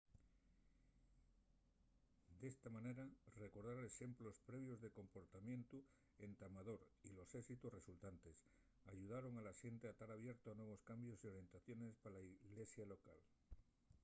d’esta manera recordar exemplos previos de comportamientu entamador y los éxitos resultantes ayudaron a la xente a tar abierto a nuevos cambios y orientaciones pa la ilesia llocal